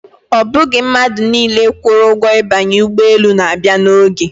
Ọ bụghị mmadụ niile kwụrụ ụgwọ ibanye ụgbọelu na-abịa n'oge.